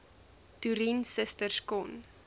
toerien susters kon